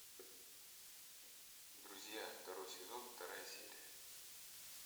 друзья второй сезон вторая серия